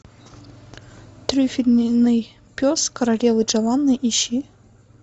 трюфельный пес королевы джованны ищи